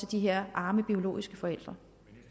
de her arme biologiske forældre